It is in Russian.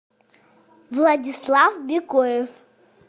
владислав бекоев